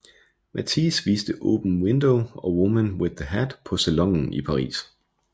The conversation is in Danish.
Matisse viste Open Window og Woman with the Hat på Salonen i Paris